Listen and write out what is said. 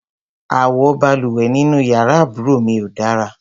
Àwo balùwẹ̀ nínú yàrá àbúrò mi ò dára.